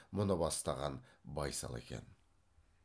мұны бастаған байсал екен